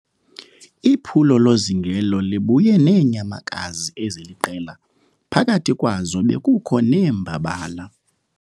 Iphulo lozingelo libuye neenyamakazi eziliqela phakathi kwazo bekukho neembabala.